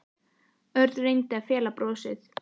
Örn og reyndi að fela brosið.